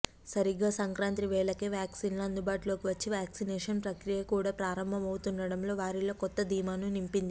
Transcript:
సరిగ్గా సంక్రాంతి వేళకే వ్యాక్సిన్లు అందుబాటులోకి వచ్చి వ్యాక్సినేషన్ ప్రక్రియ కూడా ప్రారంభం అవుతుండటం వారిలో కొత్త ధీమాను నింపింది